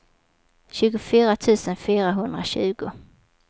tjugofyra tusen fyrahundratjugo